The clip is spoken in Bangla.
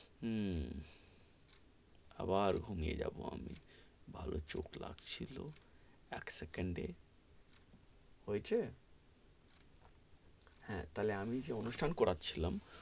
হম আবার ঘুমিয়ে যাবো আমি ভালো চোখ লাগছিলো, এক সেকেন্ডে হয়েছে হাঁ, তাহলে আমি যে অনুষ্ঠান করারছিলাম,